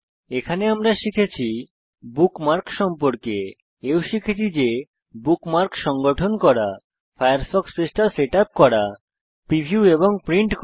এখানে আমরা শিখেছি বুকমার্কস সম্পর্কে এও শিখেছি যে বুকমার্কস সংগঠন করা ফায়ারফক্স পৃষ্ঠা সেটআপ করা প্রিভিউ এবং প্রিন্ট করা